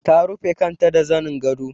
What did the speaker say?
Ta rufe kanta da zanin gado.